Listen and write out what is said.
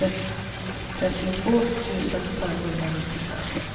trettiotvå tusen femhundranittiofem